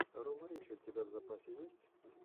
рома ричи у тебя в запасе есть